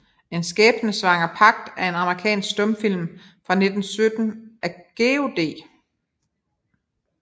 En skæbnesvanger Pagt er en amerikansk stumfilm fra 1917 af George D